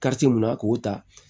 mun na k'o ta